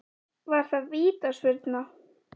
Var það vítaspyrna?